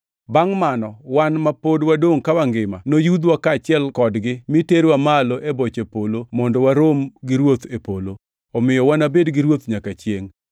Bangʼ mano, wan ma pod wadongʼ ka wangima noyudhwa kaachiel kodgi mi terwa malo e boche polo mondo warom gi Ruoth e polo. Omiyo wanabed gi Ruoth nyaka chiengʼ.